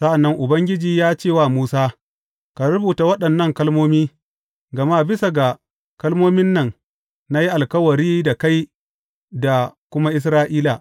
Sa’an nan Ubangiji ya ce wa Musa, Ka rubuta waɗannan kalmomi, gama bisa ga kalmomin nan, na yi alkawari da kai da kuma Isra’ila.